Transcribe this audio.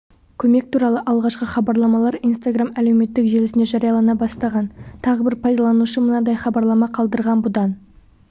көмек туралы алғашқы хабарламалар инстаграм әлеуметтік желісінде жариялана бастаған тағы бір пайдаланушы мынадай хабарлама қалдырған бұдан